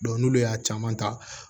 n'olu y'a caman ta